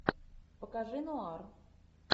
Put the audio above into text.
покажи нуар